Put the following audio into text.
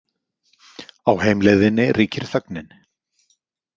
Á heimleiðinni ríkir þögnin.